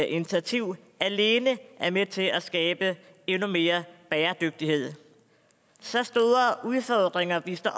initiativ alene er med til at skabe endnu mere bæredygtighed så store udfordringer vi står